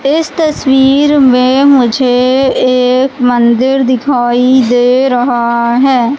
इस तस्वीर में मुझे एक मंदिर दिखाई दे रहा है।